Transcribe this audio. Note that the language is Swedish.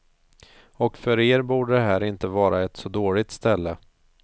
Och för er borde det här inte vara ett så dåligt ställe.